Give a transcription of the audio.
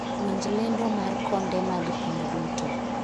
winj lendo mar konde mag piny duto